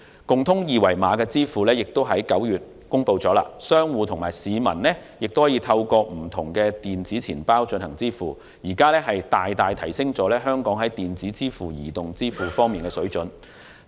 共通二維碼的支付亦已在9月公布，商戶和市民可以透過不同電子錢包進行支付，大大提升了香港在電子支付和移動支付方面的水準。